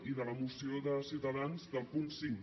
i de la moció de ciutadans del punt cinc